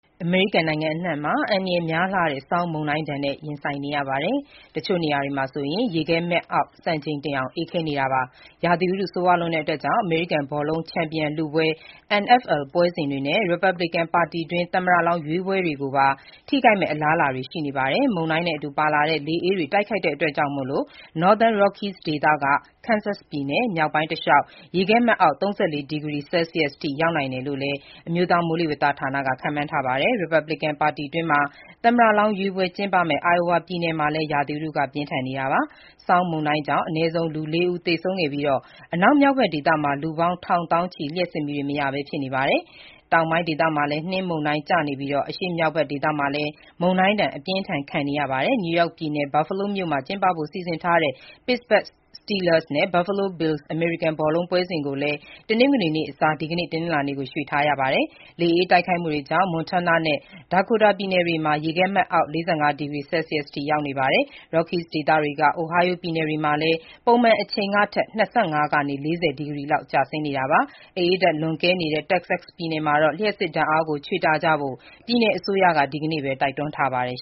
အမေရိကန်နိုင်ငံအနှံ့မှာ အန္တရာယ်များလှတဲ့ ဆောင်းမုန်တိုင်းနဲ့ ရင်ဆိုင်နေရပြီး၊ တချို့နေရာတွေမှာ ရေခဲမှတ်အောက် စံချိန်တင်အောင် အေးခဲနေပါတယ်။ ရာသီဥတု ဆိုးရွားလွန်းတာကြောင့် အမေရိကန်ဘောလုံး ချန်ပီယံလုပွဲ NFL ပွဲစဉ်တွေနဲ့ ရီပတ်ဘလစ်ကန် ပါတီတွင်း သမ္မတလောင်း ရွေးပွဲတွေကိုပါ ထိခိုက်မယ့် အလားအလာတွေ ရှိနေပါတယ်။ မုန်တိုင်းနဲ့အတူပါလာတဲ့ လေအေးတိုက်ခတ်မှုကြောင့် Northern Rockies ဒေသကနေ Kansas ပြည်နယ် မြောက်ပိုင်းတလျှောက် ရေခဲမှတ်အောက် ၃၄ ဒီဂရီ ဆဲလ်စီးယ်စ်ရောက်နိုင်တယ်လို့လည်း အမျိုးသားမိုးလေဝသဌာနက ခန့်မှန်းထားပါတယ်။ ရီပတ်ဘလစ်ကန် ပါတီတွင်း သမ္မတလောင်းရွေးပွဲ ကျင်းပမယ့် Iowa ပြည်နယ်မှာလည်း ရာသီဥတု ပြင်းထန်နေတာပါ။ ဆောင်းမုန်တိုင်းကြောင့် အနည်းဆုံး ၄ ဦး သေဆုံးခဲ့ပြီး၊ အနောက်မြောက်ဖက် ဒေသမှာ လူပေါင်း ထောင်သောင်းချီ လျှပ်စစ်မီးတွေမရပဲ ဖြစ်နေကြပါတယ်။ တောင်ပိုင်းဒေသမှာလည်း နှင်းမုန်တိုင်းကျနေပြီး အရှေ့မြောက်ဖက်ဒေသမှာလည်း မုန်တိုင်းဒဏ် အပြင်းအထန် ခံနေရတာကြောင့် New York ပြည်နယ်၊ Buffalo မြို့မှာ ကျင်းပဖို့ စီစဉ်ထားတဲ့ Pittsburgh Steelers နဲ့ Buffalo Bills အမေရိကန်ဘောလုံးပွဲစဉ်ကိုလည်း တနင်္ဂနွေနေ့အစား ဒီကနေ့ တနင်္လာနေ့ကို ရွှေ့ထားရတာပါ။ လေအေးတိုက်ခတ်မှုတွေကြောင့် Montana နဲ့ Dakota ပြည်နယ်တွေမှာ ရေခဲမှတ်အောက် ၄၅ ဒီဂရီဆဲလ်စီးယ်စ်အထိ ရောက်နေပါတယ်။ Rockies ဒေသကနေ Ohio ပြည်နယ်တွေမှာလည်း ပုံမှန်အချိန်အထက် ၂၅ ကနေ ၄၀ ဒီဂရီလောက် ကျဆင်းနေတာပါ။ အအေးဓာတ် လွန်ကဲနေတဲ့ Texas ပြည်နယ်မှာတော့ လျှပ်စစ်ဓာတ်အားကို ချွေတာကြဖို့ ပြည်နယ်အစိုးရက ဒီကနေ့ပဲ တိုက်တွန်းထားပါတယ်